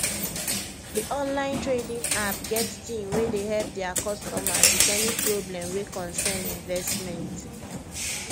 the online trading app get team wey dey help their customers with any problem wey cocern investment